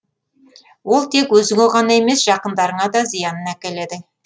ол тек өзіңе ғана емес жақындарыңа да зиянын әкеледі